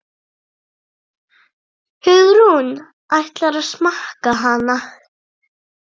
Hugrún: Ætlarðu að smakka hana?